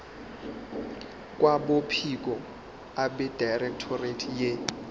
kwabophiko abedirectorate ye